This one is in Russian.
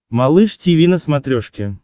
малыш тиви на смотрешке